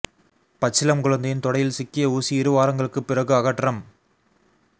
பச்சிளம் குழந்தையின் தொடையில் சிக்கிய ஊசி இரு வாரங்களுக்குப் பிறகு அகற்றம்